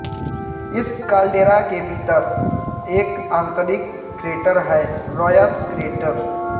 इस काल्डेरा के भीतर एक आंतरिक क्रेटर है रॉयश क्रेटर